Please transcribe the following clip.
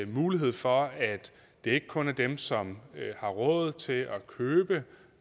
mulighed for at det ikke kun er dem som har råd til